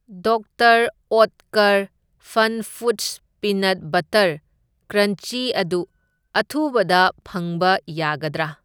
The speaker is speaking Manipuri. Doctor Oetker FunFoods peanut butter crunchy ꯑꯗꯨ ꯑꯊꯨꯕꯗ ꯐꯪꯕ ꯌꯥꯒꯗ꯭ꯔꯥ?